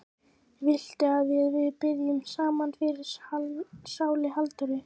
Viltu að við biðjum saman fyrir sálu Halldóru?